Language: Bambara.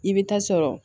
I bɛ taa sɔrɔ